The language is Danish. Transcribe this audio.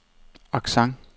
accent